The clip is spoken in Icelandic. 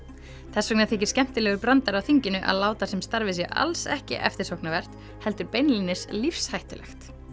þess vegna þykir skemmtilegur brandari á þinginu að láta sem starfið sé alls ekki eftirsóknarvert heldur beinlínis lífshættulegt